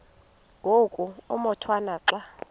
ngoku umotwana xa